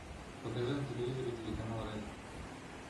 покажи на телевизоре телеканал ретро